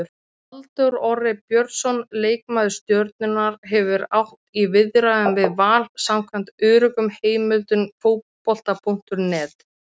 Halldór Orri Björnsson, leikmaður Stjörnunnar, hefur átt í viðræðum við Val samkvæmt öruggum heimildum Fótbolta.net.